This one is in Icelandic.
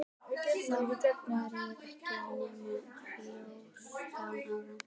Samt var ég ekki nema fjórtán ára.